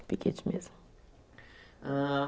Piquete mesmo. Hã